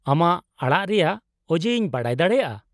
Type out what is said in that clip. -ᱟᱢᱟᱜ ᱟᱲᱟᱜ ᱨᱮᱭᱟᱜ ᱚᱡᱮ ᱤᱧ ᱵᱟᱰᱟᱭ ᱫᱟᱲᱮᱭᱟᱜᱼᱟ ?